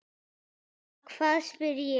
Ha, hvað? spyr ég.